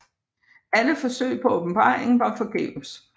Alle forsøg på åbenbaring var forgæves